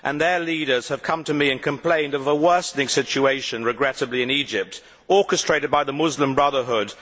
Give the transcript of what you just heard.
Their leaders have come to me and complained of a worsening situation, regrettably, in Egypt, orchestrated by the Muslim Brotherhood.